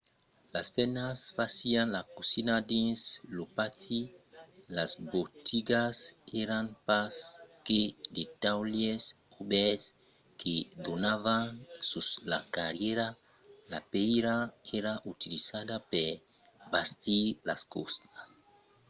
las femnas fasián la cosina dins lo pati; las botigas èran pas que de taulièrs obèrts que donavan sus la carrièra. la pèira èra utilizada per bastir los ostals